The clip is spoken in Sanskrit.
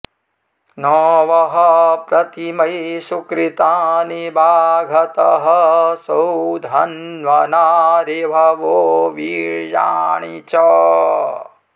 न वः॑ प्रति॒मै सु॑कृ॒तानि॑ वाघतः॒ सौध॑न्वना ऋभवो वी॒र्या॑णि च